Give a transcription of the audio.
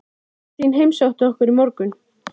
En vantar Geir þá ekki sóknarsinnaðri aðstoðarmann?